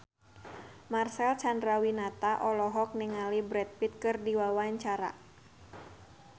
Marcel Chandrawinata olohok ningali Brad Pitt keur diwawancara